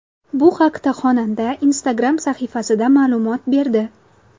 Bu haqda xonanda Instagram sahifasida ma’lumot berdi .